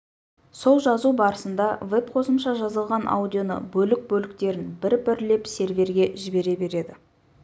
сол жазу барысында веб қосымша жазылған аудионы бөлік бөліктерін бір-бірлеп серверге жібере береді